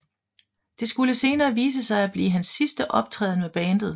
Det skulle senere vise sig at blive hans sidste optræden med bandet